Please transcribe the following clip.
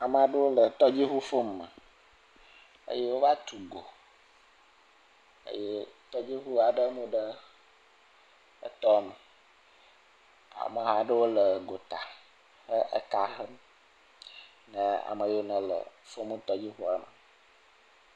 Ame aɖewo tɔdziʋufom me eye wova tu go eye tɔdziʋu aɖe mu ɖe tɔame ameha aɖewo le gota eka hem kple ame yiwo le fomtɔdziʋuame